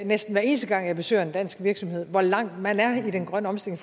næsten hver eneste gang jeg besøger en dansk virksomheder hvor langt man er i den grønne omstilling